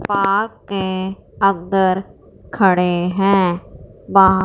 आपके अंदर खड़े हैं बा--